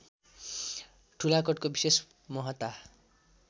ठुलाकोटको विशेष महत्ता